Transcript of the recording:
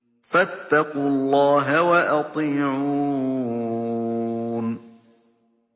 فَاتَّقُوا اللَّهَ وَأَطِيعُونِ